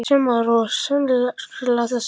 Kristján Már: Og sérstaklega þessa?